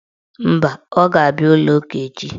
Mba, ọ ga-abịa ụlọụka echi.